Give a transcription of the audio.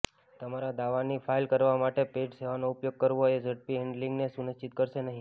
તમારા દાવાની ફાઇલ કરવા માટે પેઇડ સેવાનો ઉપયોગ કરવો એ ઝડપી હેન્ડલિંગને સુનિશ્ચિત કરશે નહીં